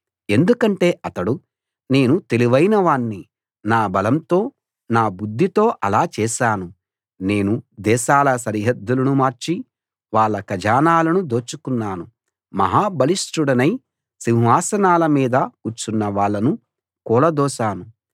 ఎందుకంటే అతడు నేను తెలివైన వాణ్ణి నా బలంతో నా బుద్ధితో అలా చేశాను నేను దేశాల సరిహద్దులను మార్చి వాళ్ళ ఖజానాలను దోచుకున్నాను మహా బలిష్ఠుడినై సింహాసనాల మీద కూర్చున్న వాళ్ళను కూలదోశాను